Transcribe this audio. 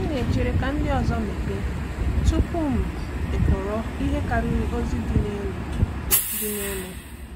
M na-echere ka ndị ọzọ mepee tupu m ekọrọ ihe karịrị ozi dị n’elu. dị n’elu.